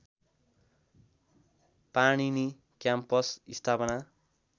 Panini campus स्थापना